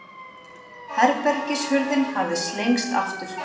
Herbergishurðin hafði slengst aftur.